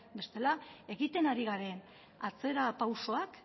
bestela egiten ari garen atzerapausoak